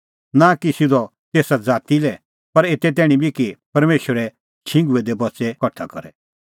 नां कि सिधअ तेसा ज़ाती लै पर एते तैणीं बी कि परमेशरे छिंघुऐ दै बच्च़ै बी कठा करे